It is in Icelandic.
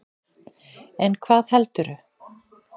En hvað heldurðu?